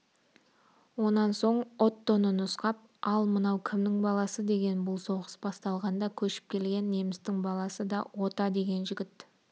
онан соң оттоны нұсқап ал мынау кімнің баласы деген бұл соғыс басталғанда көшіп келген немістің баласы ота деген жігіт